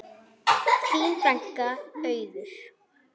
Þín frænka, Auður.